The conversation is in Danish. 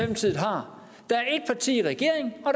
der sidder i regering når